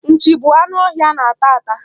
Nchi bụ anụ ọhịa a na-ata ata.